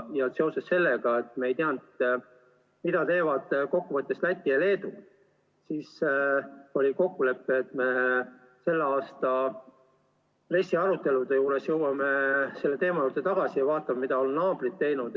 Ja seoses sellega, et me ei teadnud, mida teevad kokkuvõttes Läti ja Leedu, oli kokkulepe, et me tänavuste RES-i arutelude juures tuleme selle teema juurde tagasi ja vaatame, mida on naabrid teinud.